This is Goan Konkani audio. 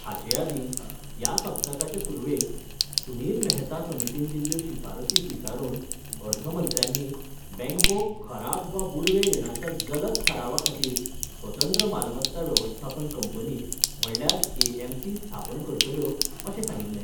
हाचे आदीं ह्या सप्तकाचे सुरवेक सुनील मेहता समितीन दिल्ल्यो शिफारसी स्विकारून अर्थमंत्र्यांनी बँको खराब वा बुडवे रिणाच्या जलद थारावा खातीर स्वतंत्र मालमत्ता वेवस्थापन कंपनी म्हणल्यार एएमसी स्थापन करतल्यो अशें सांगिल्लें.